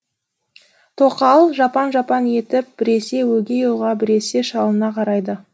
тоқал жапаң жапаң етіп біресе өгей ұлға біресе шалына қарайды